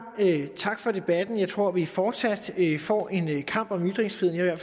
tak for debatten jeg tror at vi fortsat får en kamp om ytringsfriheden